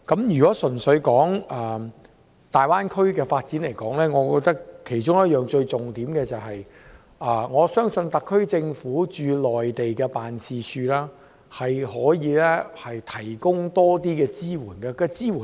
如果純粹說粵港澳大灣區的發展，我覺得其中一個最重點，是特區政府駐內地的辦事處可以提供較多支援。